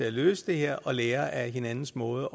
at løse det her og lære af hinandens måder